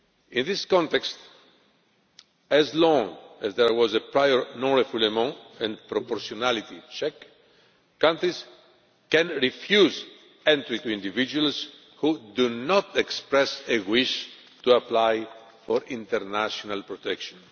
In this context, as long as there was a prior non refoulement and proportionality check, countries could refuse entry to individuals who did not express a wish to apply for international protection.